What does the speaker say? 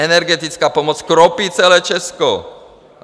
Energetická pomoc kropí celé Česko.